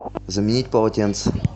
заменить полотенце